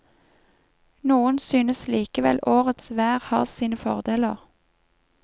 Noen synes likevel årets vær har sine fordeler.